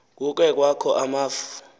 kukhe kwakho amafu